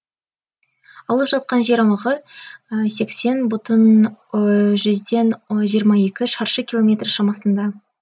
алып жатқан жер аумағы сексен бүтін жүзден жиырма екі шаршы километр шамасында